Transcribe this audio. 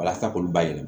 Walasa k'olu bayɛlɛma